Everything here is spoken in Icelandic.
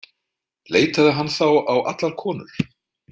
Leitaði hann þá á allar konur?